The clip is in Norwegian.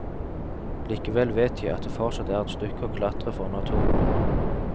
Likevel vet jeg at det fortsatt er et stykke å klatre for å nå toppen.